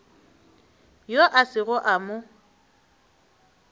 yoo a sego a mo